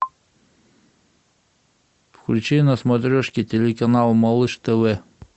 включи на смотрешке телеканал малыш тв